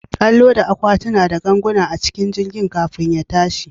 An loda akwatuna da ganguna a cikin jirgin kafin ya tashi.